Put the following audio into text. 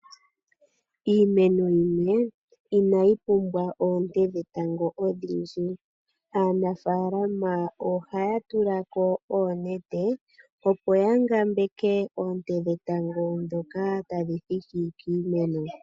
Iimeno yimwe ina yi pumbwa oonte dhetango odhindji aanafalama oha ya tulako oonete opo ya ngambeke oonte dhetango ndhoka tadhi thiki kiimeno.